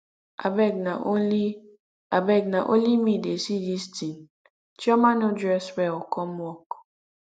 abeg na only abeg na only me wey dey see dis thing chioma no dress well come work